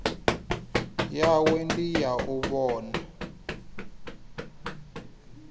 yawe ndi ya u vhona